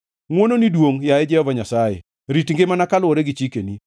Ngʼwononi duongʼ, yaye Jehova Nyasaye; rit ngimana kaluwore gi chikeni.